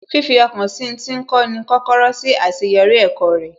Fifi ọkàn sí ń tí ń kọ́ ni kọ́kọ́rọ́ sí àṣeyọrí ẹ̀kọ́ rẹ̀